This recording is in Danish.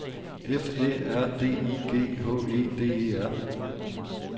F Æ R D I G H E D E R